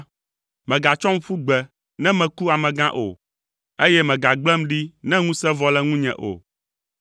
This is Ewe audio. Mègatsɔm ƒu gbe, ne meku amegã o, eye mègagblẽm ɖi ne ŋusẽ vɔ le ŋunye o.